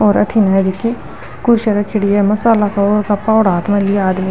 और अठीने कुर्सियां रखेड़ी है मसाला फावड़ा हाथ में लिया आदमी --